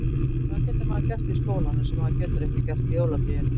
Hugrún: Hvað getur maður gert í skólanum sem maður getur ekki gert í jólafríinu?